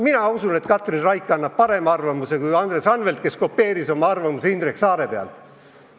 Mina usun, et Katrin Raik annab parema arvamuse kui Andres Anvelt, kes kopeeris oma arvamuse Indrek Saare oma pealt.